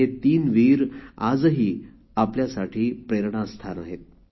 हे तीन वीर आजही आपल्यासाठी प्रेरणास्थान आहेत